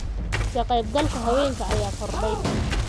Ka qaybgalka haweenka ayaa kordhay.